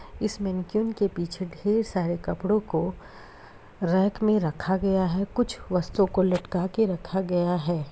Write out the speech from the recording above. इस मैनीक्वीन के पीछे ढेर सारे कपड़ों को रैक में रखा गया है कुछ वस्तुओं को लटका के रखा गया है।